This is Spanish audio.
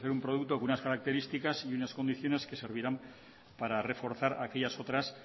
un producto con unas características y unas condiciones que servirán para reforzar aquellas otras